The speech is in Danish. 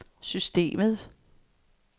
systemet